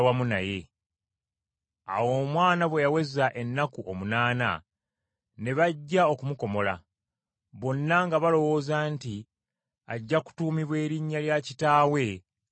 Awo omwana bwe yaweza ennaku omunaana, ne bajja okumukomola, bonna nga balowooza nti ajja kutuumibwa erinnya lya kitaawe Zaakaliya.